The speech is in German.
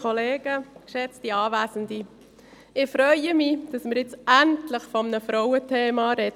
Ich freue mich, dass wir nun endlich über ein Frauenthema sprechen.